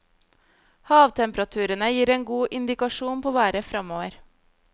Havtemperaturene gir en god indikasjon på været fremover.